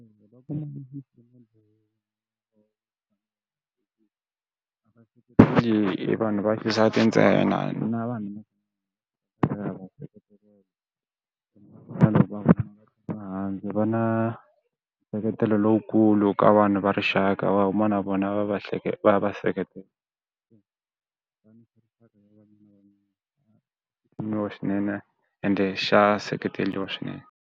vanhu va xisati ntsena na vanhu va va na nseketelo lowukulu ka vanhu va rixaka va huma na vona va va va va seketela ende xa seketeriwa swinene.